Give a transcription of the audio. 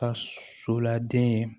Ka so lade ye